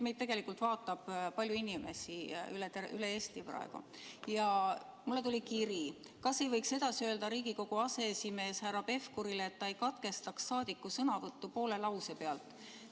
Meid vaatab praegu palju inimesi üle Eesti ja mulle tuli kiri: "Kas te ei võiks Riigikogu aseesimehele härra Pevkurile edasi öelda, et ta ei katkestaks rahvasaadiku sõnavõttu poole lause pealt?